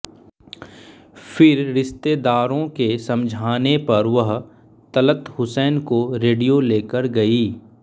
फिर रिश्तेदारों के समझाने पर वह तलत हुसैन को रेडियो लेकर गईं